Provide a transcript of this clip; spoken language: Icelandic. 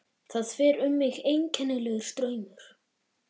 Það fer um mig einkennilegur straumur.